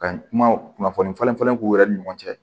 Ka kuma kunnafoni falenfalen k'u yɛrɛ ni ɲɔgɔn cɛ